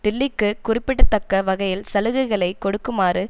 டிலிக்குக் குறிப்பிடத்தக்க வகையில் சலுகைகளை கொடுக்குமாறு